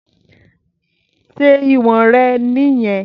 Ṣé ìwọ̀n rẹ̀ nìyẹn?